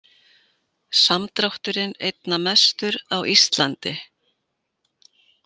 Samdrátturinn einna mestur á Íslandi